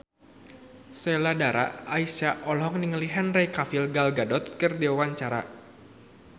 Sheila Dara Aisha olohok ningali Henry Cavill Gal Gadot keur diwawancara